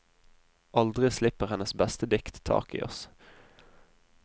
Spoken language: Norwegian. Aldri slipper hennes beste dikt taket i oss.